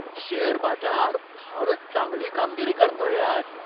Share बाजार फारच चांगली कामगिरी करतोय आज.